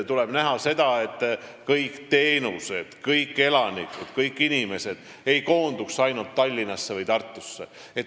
Tuleb vaadata, et kõik teenused ja kõik inimesed ei koonduks ainult Tallinnasse või Tartusse.